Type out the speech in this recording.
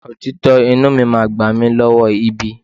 Òtítọ́ inúu mi máa gbà mí lọ́wọ́ ibi.